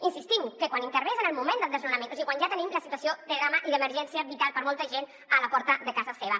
insistim que quan intervé és en el moment del desnona·ment o sigui quan ja tenim la situació de drama i d’emergència vital per a molta gent a la porta de casa seva